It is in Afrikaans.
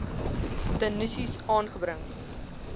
de nisies aangebring